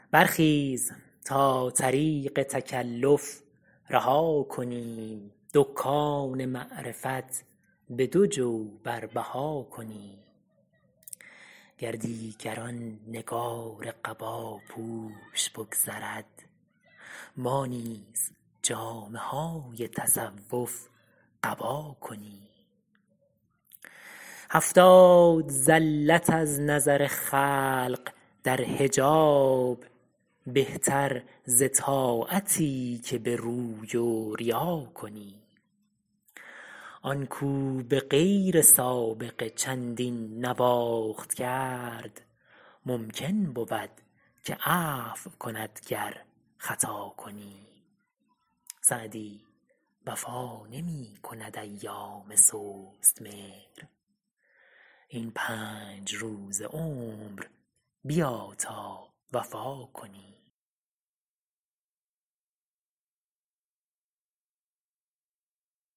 برخیز تا طریق تکلف رها کنیم دکان معرفت به دو جو بر بها کنیم گر دیگر آن نگار قباپوش بگذرد ما نیز جامه های تصوف قبا کنیم هفتاد زلت از نظر خلق در حجاب بهتر ز طاعتی که به روی و ریا کنیم آن کاو به غیر سابقه چندین نواخت کرد ممکن بود که عفو کند گر خطا کنیم سعدی وفا نمی کند ایام سست مهر این پنج روز عمر بیا تا وفا کنیم